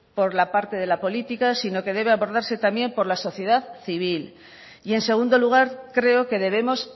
por la parte de la política sino que debe abordarse también por la sociedad civil y en segundo lugar creo que debemos